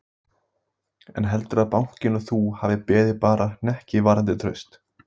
Kjartan Hreinn Njálsson: En heldurðu að bankinn og þú hafi beðið bara hnekki varðandi traust?